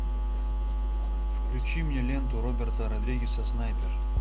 включи мне ленту роберта родригеса снайпер